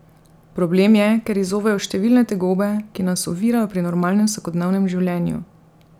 Problem je ker izzovejo številne tegobe, ki nas ovirajo pri normalnem vsakodnevnem življenju.